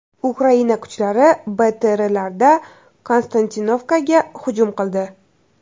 Ukraina kuchlari BTRlarda Konstantinovkaga hujum qildi.